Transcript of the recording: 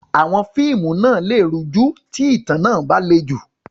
Àwọn fíìmù lè rújú tí ìtàn náà bá le jù.